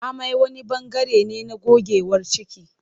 Amai wani bangare ne na gogewar ciki.